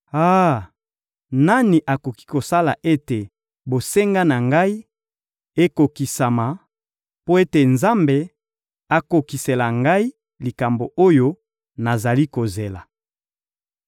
Ah! Nani akoki kosala ete bosenga na ngai ekokisama, mpe ete Nzambe akokisela ngai likambo oyo nazali kozela!